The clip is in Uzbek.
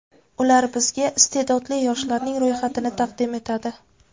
Ular bizga iste’dodli yoshlarning ro‘yxatini taqdim etadi.